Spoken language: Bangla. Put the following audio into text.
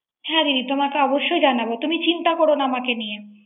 হ্যা দিদি তোমাকে অবশ্যই জানাবো। তুমি চিন্তা করো আমাকে নিয়ে